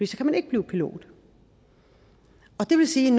kan man ikke blive pilot og det vil sige